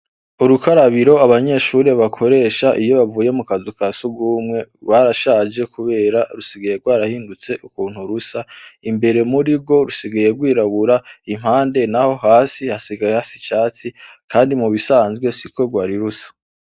Urukarabiro abanyeshure bakoresha iyo bavuye mukazu ka sugumwe gwarashaje kubera rusigaye gwarahinduye ukuntu rusa imbere murigwo rusigaye gwirabura impande naho hasigaye hasa icatsi kandi mubisanzwe siko gwari rusa.